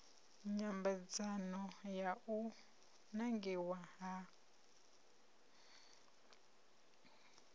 nyambedzano ya u nangiwa ha